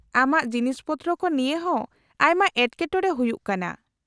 -ᱟᱢᱟᱜ ᱡᱤᱱᱤᱥ ᱯᱚᱛᱨᱚ ᱠᱚ ᱱᱤᱭᱟᱹ ᱦᱚᱸ ᱟᱭᱢᱟ ᱮᱴᱠᱮᱴᱚᱬᱮ ᱦᱩᱭᱩᱜ ᱠᱟᱱᱟ ᱾